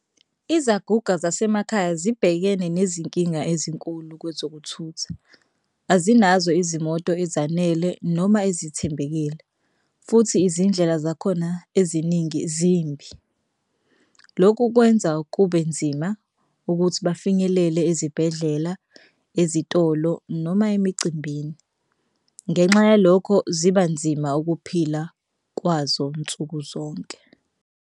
Izaguga zasemakhaya zibhekene nezinkinga ezinkulu kwezokuthutha. Azinazo izimoto ezanele noma ezithembekile futhi izindlela zakhona eziningi zimbi. Lokhu kwenza kube nzima ukuthi bafinyelele ezibhedlela ezitolo noma emicimbini. Ngenxa yalokho ziba nzima ukuphila kwazo nsukuzonke.